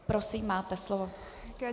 Prosím, máte slovo.